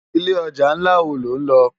Ilé òjá nlá wó ló nlò?